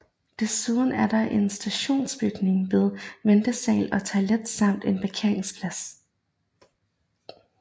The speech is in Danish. Desuden er der en stationsbygning med ventesal og toiletter samt en parkeringsplads